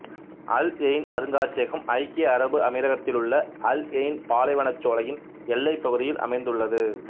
அல் Ain அருங்காட்சியகம் ஐக்கிய அரபு அமீரகத்திலுள்ள அல் எயின் பாலைவனச்சோலையின் எல்லைப் பகுதியில் அமைந்துள்ளது